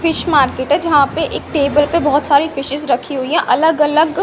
Fish market है। जहां पे एक टेबल पर बहोत सारी फिशेज रखी हुई है अलग अलग--